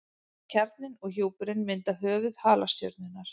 Kjarninn og hjúpurinn mynda höfuð halastjörnunnar.